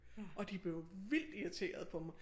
Og de blev vildt irriterede på mig